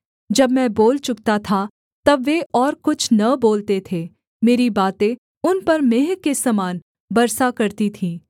जब मैं बोल चुकता था तब वे और कुछ न बोलते थे मेरी बातें उन पर मेंह के सामान बरसा करती थीं